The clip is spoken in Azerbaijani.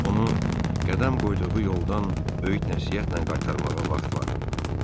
Onu qədəm qoyduğu yoldan öyüd-nəsihətlə qaytarmağa vaxt var.